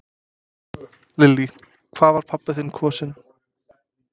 Lillý: Hvað var pabbi þinn kosinn?